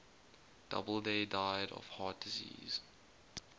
doubleday died of heart disease